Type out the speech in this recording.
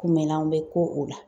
Kunbɛnlanw bɛ k'o o la.